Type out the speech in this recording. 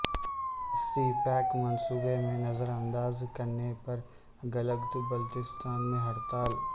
سی pack منصوبےمیں نظر انداز کرنے پر گلگت بلتستان میں ہڑتال